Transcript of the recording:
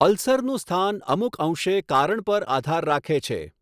અલ્સરનું સ્થાન અમુક અંશે કારણ પર આધાર રાખે છે.